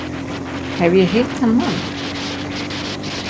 Hef ég hitt þann mann?